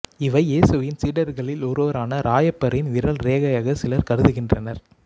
இவை ஏசுவின் சீடர்களில் ஒருவரான இராயப்பரின் விரல் ரேகையாக சிலர் கருதுகின்றனர்